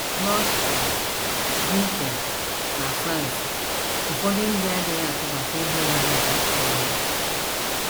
N’Austria, Britain, na France, ụfọdụ ndị adịghị atụkwasị ihe oriri GM obi.